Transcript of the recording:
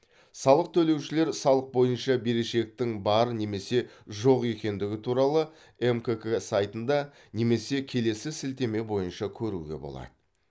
салық төлеушілер салық бойынша берешектің бар немесе жоқ екендігі туралы мкк сайтында немесе келесі сілтеме бойынша көруге болады